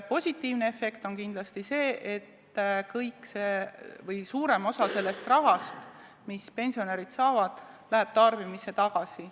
Positiivne efekt on kindlasti see, et kogu see raha või suurem osa sellest rahast, mis pensionärid saavad, läheb tarbimisse tagasi.